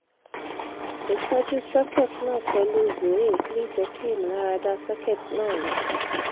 titoju socket na pelu zoe le je ki imularada socket na ya